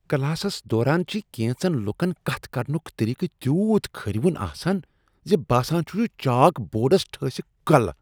Classes دوران چھ کینژن لوکن کتھ کرنک طریقہٕ تیوٗت کھرٕوُن آسان۔ زِ باسان چھُ چاک بورڈس ٹھٲسِکھ کلۍ۔